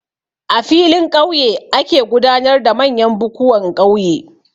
A filin ƙauye ake gudanar da manyan bukuwan ƙauye.